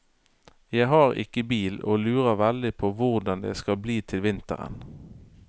Jeg har ikke bil og lurer veldig på hvordan det skal bli til vinteren.